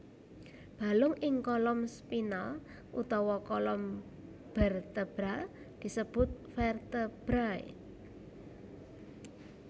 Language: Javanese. Balung ing kolom spinal utawa kolom bertebral disebut vertebrai